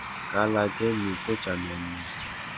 kalakenyu ko chamenyu